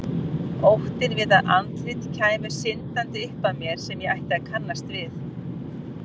Óttinn við að andlit kæmu syndandi upp að mér sem ég ætti að kannast við.